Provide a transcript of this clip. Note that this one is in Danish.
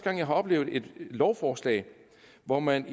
at jeg har oplevet et lovforslag hvor man